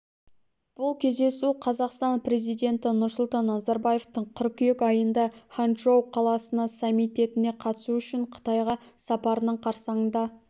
бұл кездесу қазақстан президенті нұрсұлтан назарбаевтың қыркүйек айында ханчжоу қаласына саммитіне қатысу үшін қытайға сапарының қарсаңында